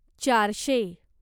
चारशे